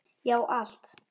Já, allt!